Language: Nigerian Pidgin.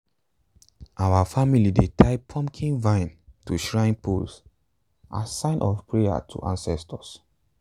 our family dey tie pumpkin vine to shrine pole as sign of prayer to ancestors.